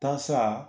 Tasa